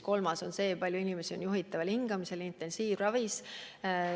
Kolmas on see, kui palju inimesi on juhitaval hingamisel intensiivravis.